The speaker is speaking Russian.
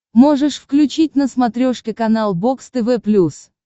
можешь включить на смотрешке канал бокс тв плюс